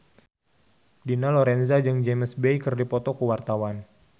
Dina Lorenza jeung James Bay keur dipoto ku wartawan